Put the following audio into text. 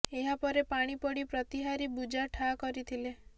ଏହା ପରେ ପାଣି ପଡି ପ୍ରତିହାରୀ ବୂଜା ଠା କରିଥିଲେ